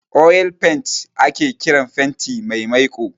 'Oil paint'' ake kiran fenti mai maiko